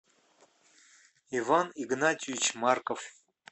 иван игнатьевич марков